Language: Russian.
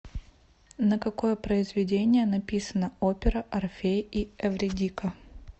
на какое произведение написана опера орфей и эвридика